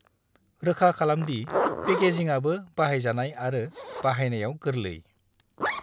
रोखा खालाम दि पेकेजिंआबो बाहायजानाय आरो बाहायनायाव गोर्लै।